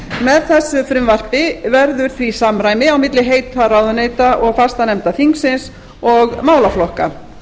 með þessu frumvarpi verður því samræmi á milli heita ráðuneyta og fastanefnda þingsins og málaflokka